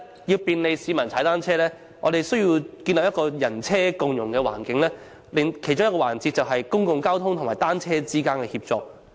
要利便市民踏單車，本港必須建立一個"人車共融"的環境，其中一個環節就是公共交通與單車之間的協作。